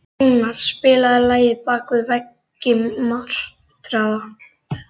Rúnar, spilaðu lagið „Bak við veggi martraðar“.